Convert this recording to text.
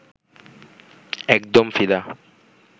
একদম ফিদা